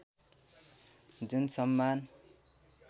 जुन सम्मान